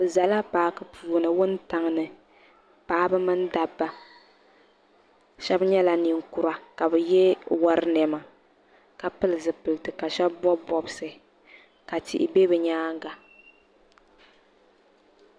Bi zala paaki puuni wuntaŋ ni paɣaba mini dabba shɛba nyɛla ninkura ka bi yɛ wari niɛma ka pili zipiliti ka shɛba bɔbi bɔbsi ka tihi bɛ bi nyaanga.